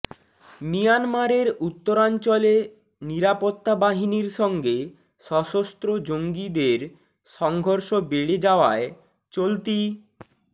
মিয়ানমারের উত্তরাঞ্চলে নিরাপত্তা বাহিনীর সঙ্গে সশস্ত্র জঙ্গিদের সংঘর্ষ বেড়ে যাওয়ায় চলতি